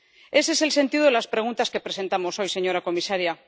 Ese es el sentido de las preguntas que presentamos hoy, señora comisaria.